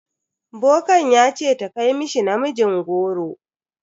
Bokan ya ce ta kai mishi namijin goro.